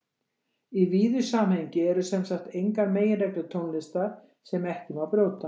Í víðu samhengi eru sem sagt engar meginreglur tónlistar sem ekki má brjóta.